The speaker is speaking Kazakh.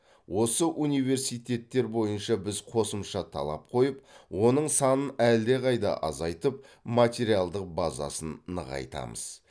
осы университеттер бойынша біз қосымша талап қойып оның санын әлдеқайда азайтып материалдық базасын нығайтамыз